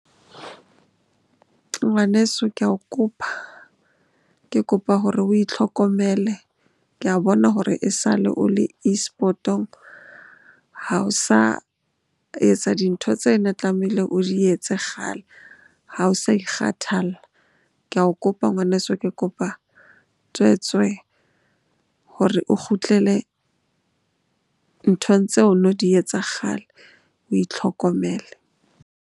Ngwaneso, ke ao kopa. Ke kopa hore o itlhokomele ke a bona hore e sale o le eSport-ong ha o sa etsa dintho tse ne tlamehile o di etse kgale, ha o sa kgathalla Ke ao kopa ngwaneso, ke kopa tswetswe hore o kgutlele nthong tseo no di etsa kgale. O itlhokomele.